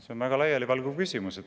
See on väga laialivalguv küsimus.